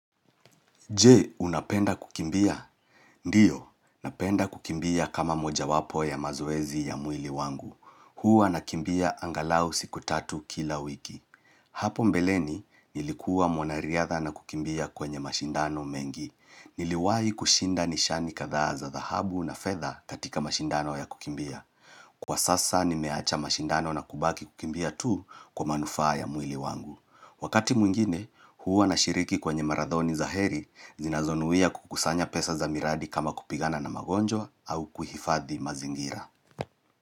Je, unapenda kukimbia? Ndiyo, napenda kukimbia kama moja wapo ya mazoezi ya mwili wangu. Huwa nakimbia angalau siku tatu kila wiki. Hapo mbeleni, nilikuwa mwanariadha na kukimbia kwenye mashindano mengi. Niliwahi kushinda nishani katha za zahabu na fedha katika mashindano ya kukimbia. Kwa sasa, nimeacha mashindano na kubaki kukimbia tu kwa manufaa ya mwili wangu. Wakati mwingine, huwa nashiriki kwenye maradhoni za heri zinazonuia kukusanya pesa za miradi kama kupigana na magonjwa au kuhifadhi mazingira.